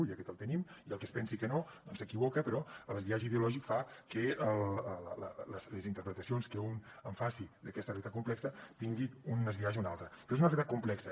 i aquest el tenim i el que es pensi que no doncs s’equivoca però el biaix ideològic fa que les interpretacions que un en faci d’aquesta realitat complexa tingui un biaix o un altre però és una realitat complexa